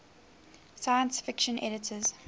science fiction editors